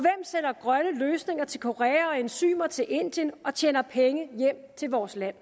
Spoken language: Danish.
sælger grønne løsninger til korea og enzymer til indien og tjener penge hjem til vores land